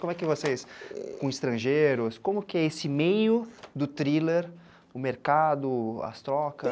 Como é que vocês, com estrangeiros, como que é esse meio do thriller, o mercado, as trocas?